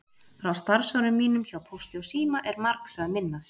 Frá starfsárum mínum hjá Pósti og síma er margs að minnast.